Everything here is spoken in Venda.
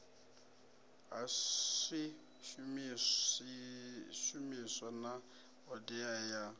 ha swishumiswa na hoddea ya